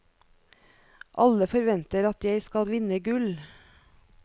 Alle forventer at jeg skal vinne gull.